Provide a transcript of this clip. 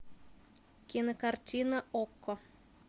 кинокартина окко